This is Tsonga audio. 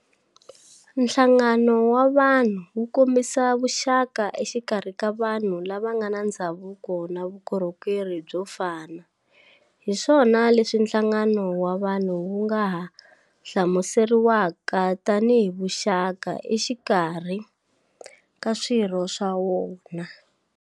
Nhlangano wa vunhu wu kombisa vuxaka exikarhi ka vanhu lava ngana ndzhavuko na vukorhokeri byo fana, hiswona leswi nhlangano wa vanhu wu nga ha hlamuseriwaka tani hi vuxaka exikarhi ka swirho swa wona.